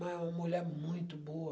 Mas é uma mulher muito boa.